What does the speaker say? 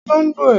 Ó fẹ olóngbò ẹ̀.